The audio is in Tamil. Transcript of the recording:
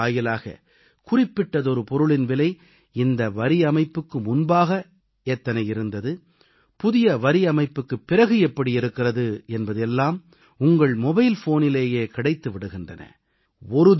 செயலி வாயிலாக குறிப்பிட்டதொரு பொருளின் விலை இந்த வரியமைப்புக்கு முன்பாக எத்தனை இருந்தது புதிய வரியமைப்புக்குப் பிறகு எப்படி இருக்கிறது என்பது எல்லாம் உங்கள் மொபைல் ஃபோனிலேயே கிடைத்து விடுகின்றன